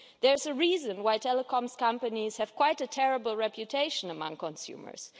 There's a reason why telecom companies have quite a terrible reputation among consumers.